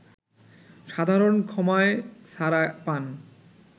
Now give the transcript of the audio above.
সাধারণ ক্ষমায় ছাড়া পান